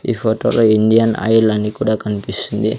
ఈ ఫోటోలో Indian Oil అని కూడా కనిపిస్తుంది.